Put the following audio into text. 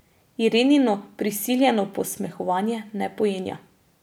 Irenino prisiljeno posmehovanje ne pojenja.